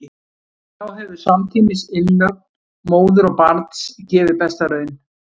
Þá hefur samtímis innlögn móður og barns gefið besta raun.